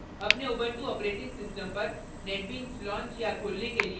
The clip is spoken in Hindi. अपने उबुंटू operating system पर netbeans launch या खोलने के लिए